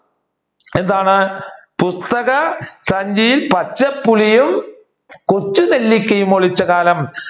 എന്താണ് പുസ്തക സഞ്ചിയിൽ പച്ച പുളിയും കൊച്ചു നെല്ലിക്കയും ഒളിച്ച കാലം